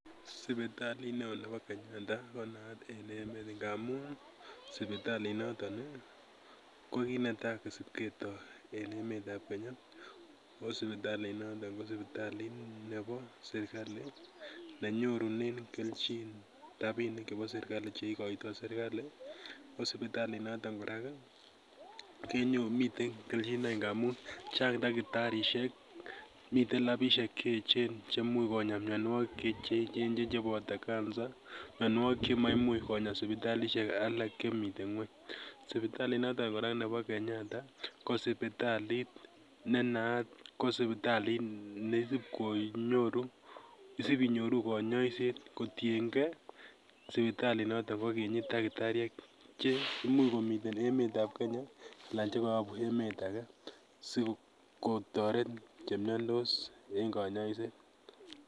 Sipitalit neo nebo kenyatta ko naat en emet ngamun ii sipitalinoton ko kinetaa kisipketoo en emetab kenya ako sipitalinoton ko sipitalit ne bo serikali nenyorunen kelchin rapinik chebo serikali cheikoitoo serikali ako sipitalinotok kora kenyorunen miten kelchinoik kora ngamun chang dakitarisiek miten lapinik che echen cheimuch konyaa mionwokik cheboto cancer, mianwogik chemaimuch konyaa sipitalisiek alak chemiten ngweny, sipitalinotok kora bo kenyatta ko sipitalit neisip inyoru konyoiset kotiengee sipitalinotok kokinyii dakitariek che imuch komiten emetab kenya alaa chekoyobu emet ake kotoret chemiandos en konyoiset.